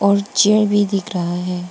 एक चेयर भी दिख रहा।